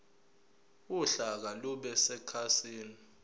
uhlaka lube sekhasini